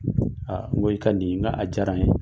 n ko i ka nin n k'a diyara n ye.